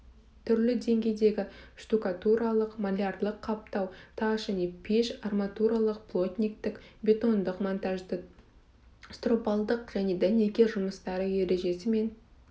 түрлі деңгейдегі штукатуралық малярлық қаптау тас және пештік арматуралық плотниктік бетондық монтаждық стропалдық және дәнекер жұмыстары ережесі мен